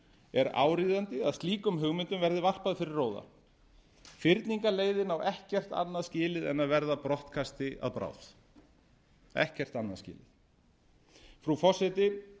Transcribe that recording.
er áríðandi að slíkum hugmyndum verði varpað fyrir róða fyrningarleiðin á ekkert annað skilið en að verða brottkasti að bráð ekkert annað skilið frú forseti